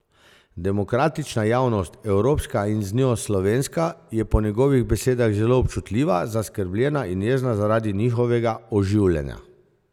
Demokratična javnost, evropska in z njo slovenska, je po njegovih besedah zelo občutljiva, zaskrbljena in jezna zaradi njihovega oživljanja.